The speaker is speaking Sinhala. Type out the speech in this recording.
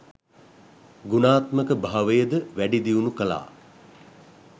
ගුණාත්මක භාවයද වැඩි දියුණු කළා.